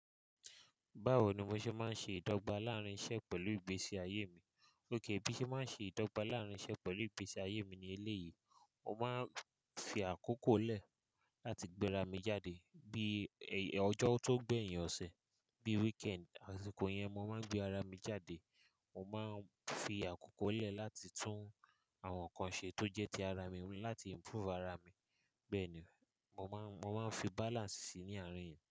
Báwo ni mo ṣe máa ń ṣe ìdọ́gba láàárín iṣẹ́ pẹ̀lú ìgbésí ayé mi? Óké, bí mo ṣe máa ń ṣe ìdọ́gba láàárín iṣẹ́ pẹ̀lú ìgbésí ayé mi ní ilé yìí, mo máa ń fi àkókò lẹ̀ láti gbéra mi jáde. Bí ọjọ́ tó gbẹ̀yìn ọ̀sẹ̀, bí weekend, àsìkò yẹn mo máa ń gbé ara mi jáde. Mo máa ń fi àkókò lẹ̀ láti tún àwọn nǹkan ṣe tó jẹ́ ti ara mi wá, láti improve ara mi. Bẹ́ẹ̀ ni, mo máa ń, mo máa ń fi balance síi ní àárín yẹn.